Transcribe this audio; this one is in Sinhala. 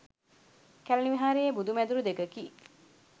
කැලණි විහාරයේ බුදු මැදුරු දෙකකි.